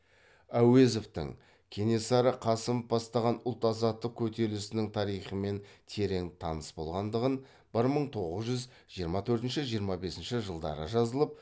әуезовтің кенесары қасымов бастаған ұлт азаттық көтерілісінің тарихымен терең таныс болғандығын бір мың тоғыз жүз жиырма төртінші жиырма бесінші жылдары жазылып